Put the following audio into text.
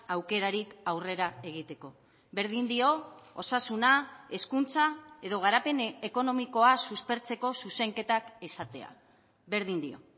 aukerarik aurrera egiteko berdin dio osasuna hezkuntza edo garapen ekonomikoa suspertzeko zuzenketak izatea berdin dio